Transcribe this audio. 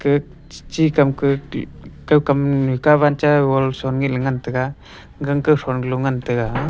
gak chu kam kakau kam kawan cha wo son ngai la ngan tega gang kho son galoh ngan tega.